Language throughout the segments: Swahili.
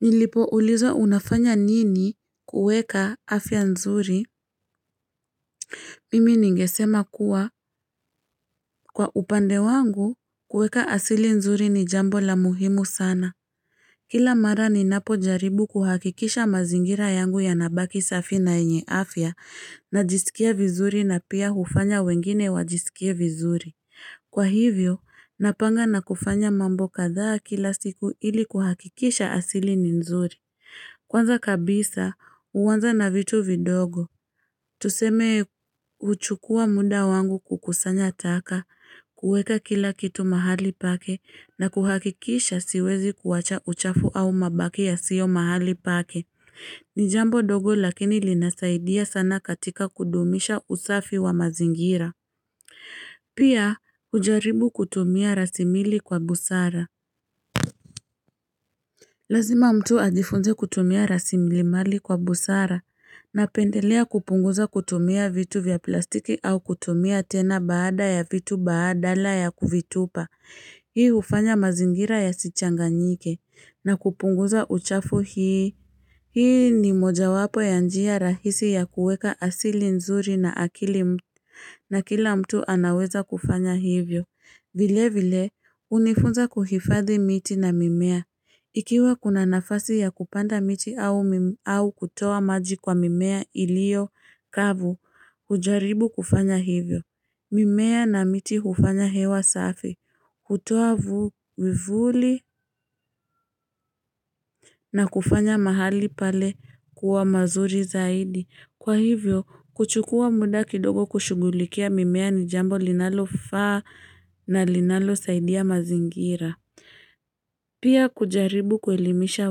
Nilipo ulizwa unafanya nini kuweka afya nzuri? Mimi ningesema kuwa kwa upande wangu kuweka asili nzuri ni jambo la muhimu sana. Kila mara ni napo jaribu kuhakikisha mazingira yangu ya nabaki safi na yenye afya na jisikia vizuri na pia hufanya wengine wajisikie vizuri. Kwa hivyo, napanga na kufanya mambo kadhaa kila siku ili kuhakikisha asili ni nzuri. Kwanza kabisa, uwanza na vitu vidogo. Tuseme huchukua muda wangu kukusanya taka, kuweka kila kitu mahali pake na kuhakikisha siwezi kuwacha uchafu au mabaki ya sio mahali pake. Nijambo ndogo lakini linasaidia sana katika kudumisha usafi wa mazingira. Pia, ujaribu kutumia rasimili kwa busara. Lazima mtu ajifunze kutumia rasimali mali kwa busara na pendelea kupunguza kutumia vitu vya plastiki au kutumia tena baada ya vitu baadala ya kuvitupa. Hii hufanya mazingira ya sichanga nyike na kupunguza uchafu hii. Hii ni moja wapo ya njia rahisi ya kuweka asili nzuri na akili na kila mtu anaweza kufanya hivyo. Vile vile hunifunza kuhifadhi miti na mimea. Ikiwa kuna nafasi ya kupanda miti au kutoa maji kwa mimea iliyo kavu. Kujaribu kufanya hivyo. Mimea na miti hufanya hewa safi. Kutoa vivuli na kufanya mahali pale kuwa mazuri zaidi. Kwa hivyo, kuchukua muda kidogo kushughulikia mimea ni jambo linalo faa na linalo saidia mazingira. Pia kujaribu kuelimisha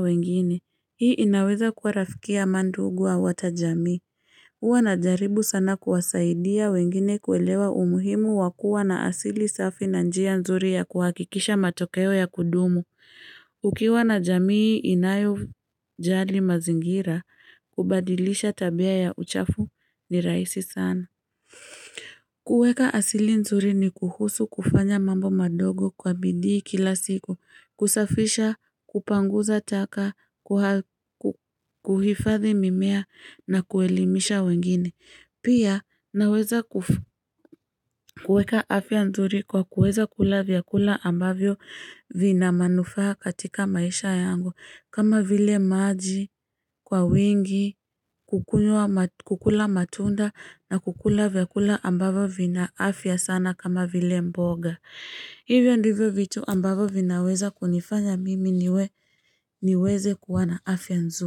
wengine, hii inaweza kuwa rafiki amanduguau hatajamii. Huwa na jaribu sana kuwasaidia wengine kuelewa umuhimu wakua na asili safi na njia nzuri ya kuhakikisha matokeo ya kudumu. Ukiwa na jamii inayo jali mazingira, kubadilisha tabia ya uchafu ni rahisi sana. Kuweka asili nzuri ni kuhusu kufanya mambo madogo kwa bidii kila siku, kusafisha, kupanguza taka, kuhifadhi mimea na kuelimisha wengine. Pia naweza kuweka afya nzuri kwa kuweza kula vyakula ambavyo vina manufaa katika maisha yangu kama vile maji kwa wingi kukula matunda na kukula vyakula ambavyo vina afya sana kama vile mboga Hivyo ndivyo vitu ambavyo vinaweza kunifanya mimi niwe niweze kuwana afya nzuri.